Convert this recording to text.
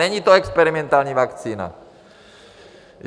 Není to experimentální vakcína.